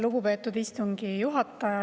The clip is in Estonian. Lugupeetud istungi juhataja!